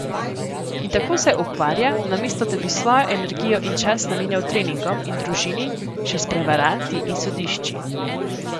In tako se ukvarja, namesto da bi svojo energijo in čas namenjal treningom in družini, še s prevaranti in sodišči.